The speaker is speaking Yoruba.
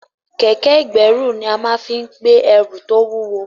Kẹ̀kẹ́ ìkẹ́rù là máa fí ń gbé ẹrù tó wúwo